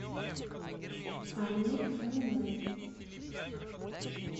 анне фоминой